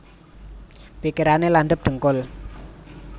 Pikirane landhep dhengkul